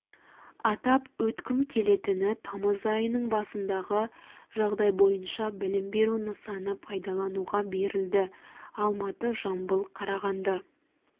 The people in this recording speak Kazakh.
атап өткім келетіні тамыз айының басындағы жағдай бойынша білім беру нысаны пайдаланылуға берілді алматы жамбыл қарағанды